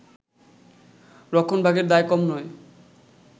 রক্ষণভাগের দায় কম নয়